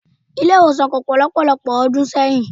Ilé-ìwòsàn kò pọ̀ lọ́pọ̀lọpọ̀ ọdún sẹ́yìn.